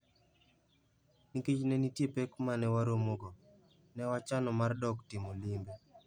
Nikech ne nitie pek moko ma ne waromogo, ne wachano mar dok timo limbe.